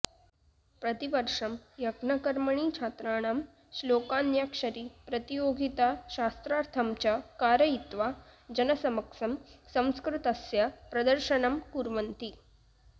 प्रतिवर्षं यज्ञकर्मणि छात्राणां श्लोकान्याक्षरी प्रतियोगिता शास्त्रार्थं च कारयित्वा जनसमक्षं संस्कृतस्य प्रदर्शनं कुर्वन्ति